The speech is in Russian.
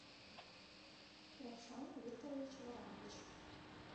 равшан викторович воронович